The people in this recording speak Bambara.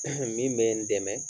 min be n dɛmɛ